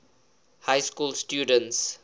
high school students